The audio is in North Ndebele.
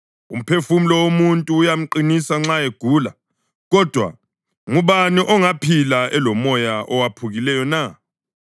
Umphefumulo womuntu uyamqinisa nxa egula, kodwa ngubani ongaphila elomoya owephukileyo na?